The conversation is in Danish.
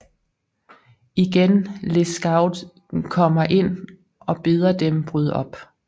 Igen Lescaut kommer ind og beder dem bryde op